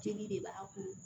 Jeli de b'a kun